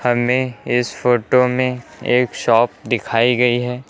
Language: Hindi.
हमें इस फोटो में एक शॉप दिखाई गई है।